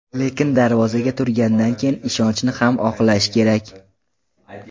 Lekin darvozaga turgandan keyin ishonchni ham oqlash kerak.